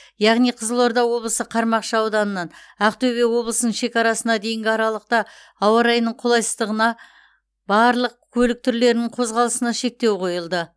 яғни қызылорда облысы қармақшы ауданынан ақтөбе облысының шекарасына дейінгі аралықта ауа райының қолайсыздығына барлық көлік түрлерінің қозғалысына шектеу қойылды